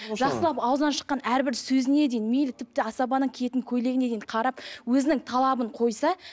жақсылап ауызынан шыққан әрбір сөзіне дейін мейлі тіпті асабаның киетін көйлегіне дейін қарап өзінің талабын қойса